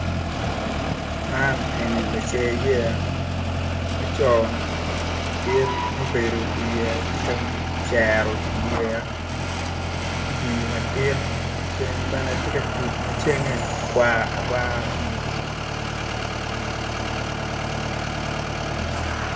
Man eni-ni lace yeya laco madit ma obedo i yeya tye ka cero yeya i pii madit ceng bene tye ka tuc ma cenge kwar akwara